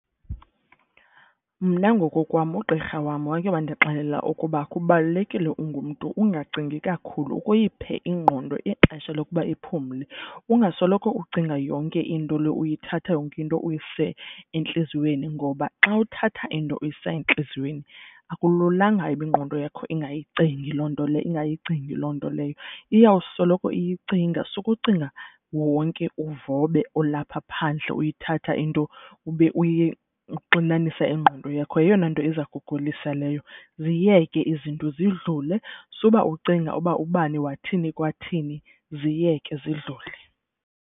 Mna ngokokwam ugqirha wam wake wandixelela ukuba kubalulekile ungumntu ungacingi kakhulu ukuyiphe ingqondo ixesha lokuba iphumle. Ungasoloko ucinga yonke into le uyithatha yonke into uyise entliziyweni ngoba xa uthatha into uyisa entliziyweni akululanga uba ingqondo yakho ingayicingi loo nto leyo ingayigcini loo nto leyo. Iyawusoloko iyicinga sukucinga wonke uvobe olapha phandle uyithatha into ube uyixinanisa ingqondo yakho yeyona nto iza kugulisa leyo ziyeke izinto zidlule suba ucinga uba ubani wathi kwathini ziyeke zidlule.